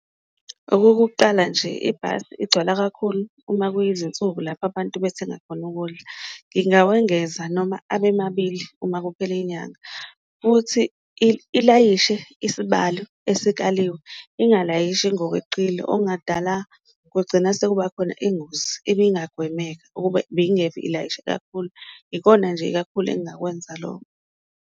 Okokuqala nje, ibhasi igcwala kakhulu uma kuyizinsuku lapho abantu bethenga khona ukudla, ngingawengeza noma abemabili uma kuphela inyanga futhi ilayishe isibalo esikaliwe ingalayishi ngokweqile okungadala kugcina sekuba khona ingozi ebingagwemeka ukuba ibingeke ilayishe kakhulu. Ikona nje kakhulu engakwenza loko.